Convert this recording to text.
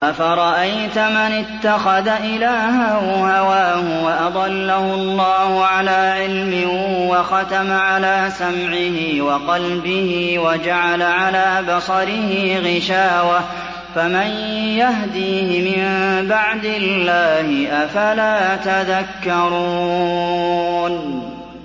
أَفَرَأَيْتَ مَنِ اتَّخَذَ إِلَٰهَهُ هَوَاهُ وَأَضَلَّهُ اللَّهُ عَلَىٰ عِلْمٍ وَخَتَمَ عَلَىٰ سَمْعِهِ وَقَلْبِهِ وَجَعَلَ عَلَىٰ بَصَرِهِ غِشَاوَةً فَمَن يَهْدِيهِ مِن بَعْدِ اللَّهِ ۚ أَفَلَا تَذَكَّرُونَ